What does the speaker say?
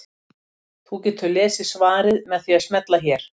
Þú getur lesið svarið með því að smella hér.